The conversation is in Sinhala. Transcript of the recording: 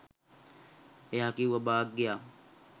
එයා කිව්වා භාග්‍යා